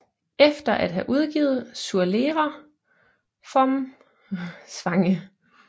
Efter at have udgivet Zur Lehre vom Zwange